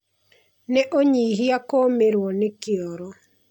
Nĩ ũnyihia Kũũmĩrwo nĩ kĩoro.